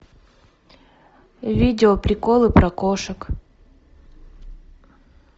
видео приколы про кошек